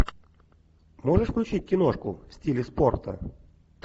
можешь включить киношку в стиле спорта